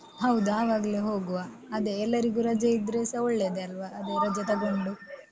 ಹೌದು. ಆವಾಗ್ಲೇ ಹೋಗುವ ಅದೇ ಎಲ್ಲರಿಗೂ ರಜೆ ಇದ್ರೆ ಸ ಒಳ್ಳೇದೆ ಅಲ್ವ? ಅದೆ ರಜೆ ತಗೊಂಡು.